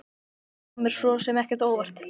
Þetta kom mér svo sem ekki á óvart.